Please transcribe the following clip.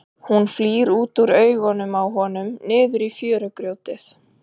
Hún flýr út úr augunum á honum niður í fjörugrjótið.